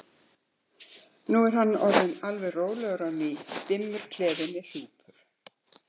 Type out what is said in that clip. Nú er hann orðinn alveg rólegur á ný, dimmur klefinn er hjúpur.